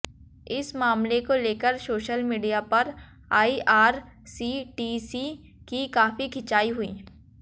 इस मामले को लेकर सोशल मीडिया पर आईआरसीटीसी की काफी खिंचाई हुई